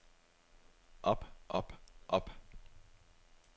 op op op